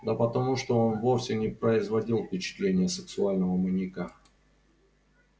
да потому что он вовсе не производил впечатления сексуального маньяка